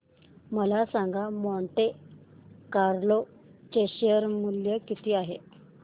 मला सांगा Monte Carlo चे शेअर मूल्य किती आहे